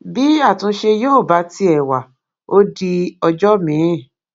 bí àtúnṣe yóò bá tiẹ wá ó di ọjọ miín